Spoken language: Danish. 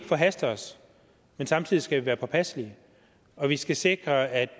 forhaste os men samtidig skal vi være påpasselige og vi skal sikre at